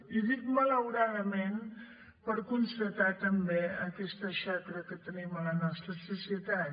i dic malauradament per constatar també aquesta xacra que tenim a la nostra societat